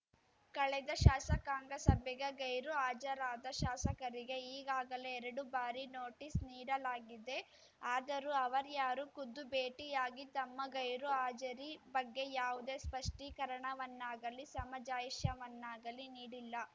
ಕಳೆದ ಶಾಸಕಾಂಗ ಸಭೆಗೆ ಗೈರುಹಾಜರಾದ ಶಾಸಕರಿಗೆ ಈಗಾಗಲೇ ಎರಡು ಬಾರಿ ನೋಟಿಸ್‌ ನೀಡಲಾಗಿದೆ ಆದರೂ ಅವರಾರ‍ಯರೂ ಖುದ್ದು ಭೇಟಿಯಾಗಿ ತಮ್ಮ ಗೈರು ಹಾಜರಿ ಬಗ್ಗೆ ಯಾವುದೇ ಸ್ಪಷ್ಟೀಕರಣವನ್ನಾಗಲೀ ಸಮಜಾಯಿಷಯವನ್ನಾಗಲೀ ನೀಡಿಲ್ಲ